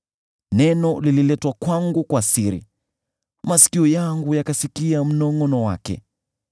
“Neno lililetwa kwangu kwa siri, masikio yangu yakasikia mnongʼono wake.